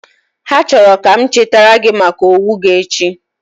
Ha chọrọ ka m chetara gị maka owo gi echi